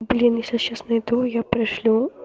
блин если я сейчас найду я пришлю